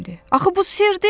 Axı bu sirdi!